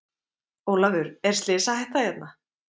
Ólafur er slysahætta hérna?